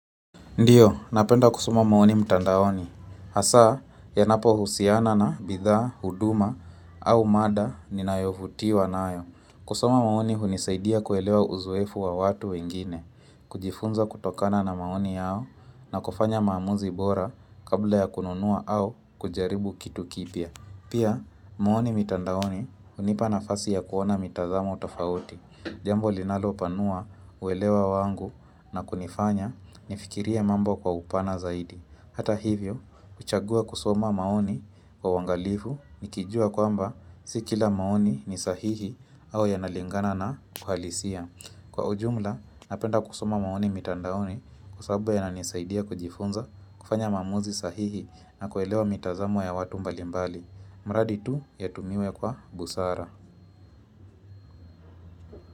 Ndio, napenda kusoma maoni mtandaoni. Hasa, yanapohusiana na bidhaa, huduma, au mada, ninayovutiwa nayo. Kusoma maoni hunisaidia kuelewa uzoefu wa watu wengine, kujifunza kutokana na maoni yao, na kufanya maamuzi bora kabla ya kununua au kujaribu kitu kipya. Pia, maoni mitandaoni hunipa nafasi ya kuona mitazamo tofauti. Jambo linalopanua uelewa wangu na kunifanya nifikirie mambo kwa upana zaidi Hata hivyo, kuchagua kusoma maoni kwa uangalifu Nikijua kwamba si kila maoni ni sahihi au yanalingana na uhalisia Kwa ujumla, napenda kusoma maoni mitandaoni kwa sababu yananisaidia kujifunza kufanya maamuzi sahihi na kuelewa mitazamo ya watu mbalimbali mradi tu, yatumiwe kwa busara.